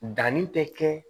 Danni tɛ kɛ